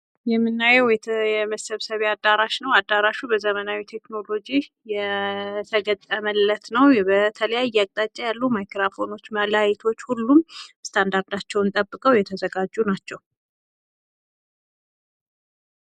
የምናየው የመሰብሰብ ያዳራሽ ነው አዳራሹ በዘመናዊ ቴክኖሎጂ የተገጠመለት ነው በተለያየ አቅጣጫ ላይ ማይክራፎኖችና ላይቶች ሁሉም ስታንዳርዳቸውን ጠብቀው የተዘጋጁ ናቸው።